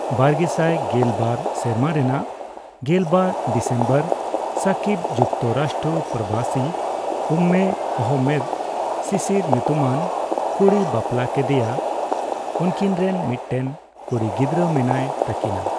ᱵᱟᱨᱜᱮᱥᱟᱭ ᱜᱮᱞ ᱵᱟᱨ ᱥᱮᱨᱢᱟ ᱨᱮᱱᱟ ᱜᱮᱞ ᱵᱟᱨ ᱰᱤᱥᱮᱢᱵᱚᱨ ᱥᱟᱠᱤᱵᱽ ᱡᱩᱠᱛᱚ ᱨᱟᱥᱴᱨᱚ ᱯᱨᱚᱵᱟᱥᱤ ᱩᱢᱢᱮ ᱟᱦᱢᱢᱮᱫᱽ ᱥᱤᱥᱤᱨ ᱧᱩᱛᱩᱢᱟᱱ ᱠᱩᱲᱤᱭ ᱵᱟᱯᱞᱟ ᱠᱮᱫᱮᱭᱟ᱾ ᱩᱝᱠᱤᱱ ᱨᱮᱱ ᱢᱤᱫᱴᱮᱱ ᱠᱩᱲᱤ ᱜᱤᱫᱨᱟᱹ ᱢᱮᱱᱟᱭ ᱛᱟᱹᱠᱤᱱᱟᱹ᱾